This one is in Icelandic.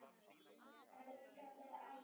Elska þig ætíð.